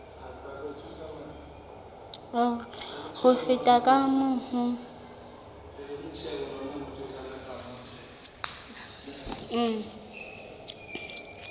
ho feta ka moo ho